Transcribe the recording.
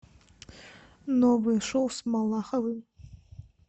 новое шоу с малаховым